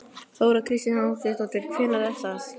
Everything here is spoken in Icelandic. Þóra Kristín Ásgeirsdóttir: Hvenær er það?